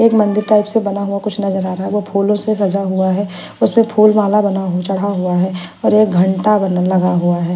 एक मंदिर टाइप से बना हुआ कुछ नजर आ रहा है वो फूलों से सजा हुआ है उस पे फूल माला बना चढ़ा हुआ है और एक घंटा वाला लगा हुआ है।